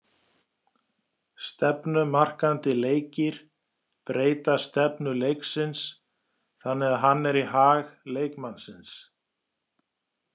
Stefnumarkandi leikir breyta stefnu leiksins þannig að hann er í hag leikmannsins.